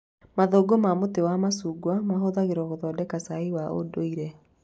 Mathangũ ma mũtĩ wa macungwa mahũthagĩrwo gũthondeka cai wa ũndũire